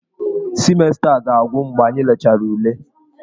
Simesta a ga-agwụ mgbe anyị lechara ule.